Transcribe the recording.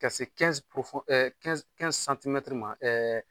Ka se ma